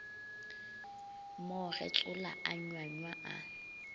mo getsola a nywanywa a